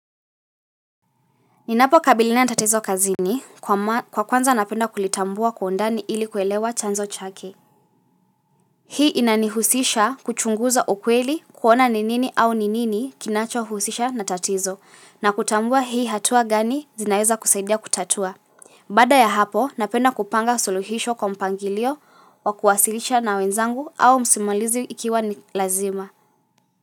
Ninapo kabiliana na tatizo kazini, kwa kwanza napenda kulitambua kwa undani ili kuelewa chanzo chake. Hii inanihusisha kuchunguza ukweli, kuona ni nini au ni nini kinachohusisha na tatizo, na kutambua hii hatua gani, zinaweza kusaidia kutatua. Baada ya hapo, napenda kupanga suluhisho kwa mpangilio wa kuwasilisha na wenzangu, au msimulizi ikiwa ni lazima.